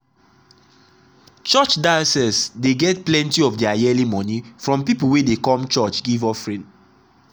church diocese dey get plenty of their yearly money from people wey dey come church give offering.